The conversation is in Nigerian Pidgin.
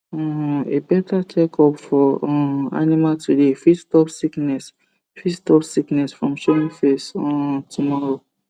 um a better check up for um animal today fit stop sickness fit stop sickness from showing face um tomorrow